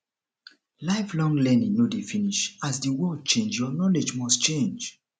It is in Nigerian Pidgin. lifelong learning no dey finish as the world change your knowledge must change